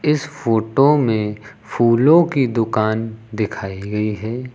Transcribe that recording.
इस फोटो में फूलों की दुकान दिखाई गई है।